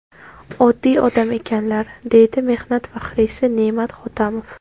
Oddiy odam ekanlar”, deydi mehnat faxriysi Ne’mat Hotamov.